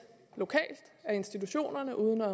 lokalt af institutionerne uden at